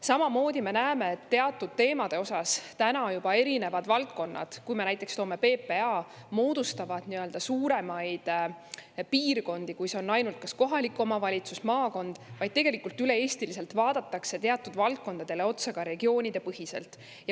Samamoodi me näeme, et teatud teemade puhul erinevad valdkonnad – toon näiteks PPA – juba moodustavad suuremaid piirkondi, kui on ainult kas kohalik omavalitsus või maakond, ja tegelikult üle Eesti vaadatakse teatud valdkondadele otsa regioonidepõhiselt.